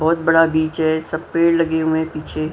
बहुत बड़ा बीच है सब पेड़ लगे हुए हैं पीछे--